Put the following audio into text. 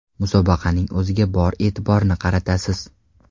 Musobaqaning o‘ziga bor e’tiborni qaratasiz.